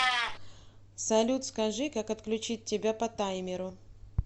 салют скажи как отключить тебя по таймеру